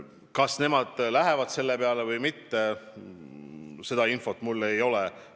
Kas nemad lähevad selle peale või mitte, seda infot mul ei ole.